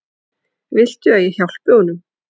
Viltu að ég hjálpi honum?